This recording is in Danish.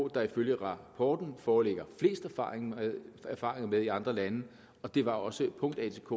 der ifølge rapporten foreligger flest erfaringer erfaringer med i andre lande og det var også punkt atk